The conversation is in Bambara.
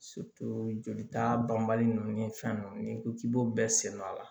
jolita banbali nunnu ni fɛn nunnu n'i ko k'i b'o bɛɛ senna a la